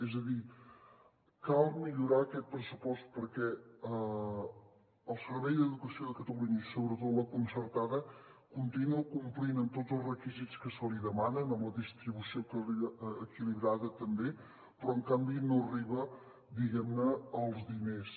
és a dir cal millorar aquest pressupost perquè el servei d’educació de catalunya i sobretot la concertada continua complint amb tots els requisits que se li demanen amb la distribució equilibrada també però en canvi no arriben diguem ne els diners